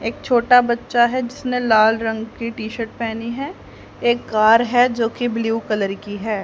एक छोटा बच्चा है जिसने लाल रंग के टी शर्ट पहनी है एक कार है जो की ब्लू कलर की है।